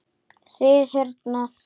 Þið hérna.